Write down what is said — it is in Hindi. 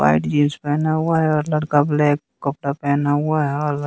वाइट जींस पेहना हुआ है और लड़का ब्लैक कपड़ा पेहना हुआ है और --